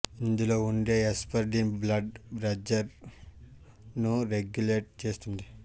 ఇందులో ఉండే hesperidin blood pressure ను రెగ్యులేట్ చేస్తుంది